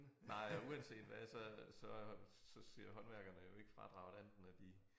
Nej og uanset hvad så så så ser håndværkerne jo ikke fradraget andet end når de